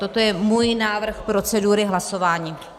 Toto je můj návrh procedury hlasování.